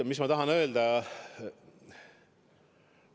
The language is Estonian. Mis ma tahan öelda?